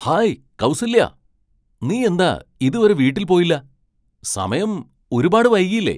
Hi Kausalya, നീ എന്താ ഇതുവരെ വീട്ടിൽ പോയില്ല? സമയം ഒരുപാട് വൈകിയില്ലേ?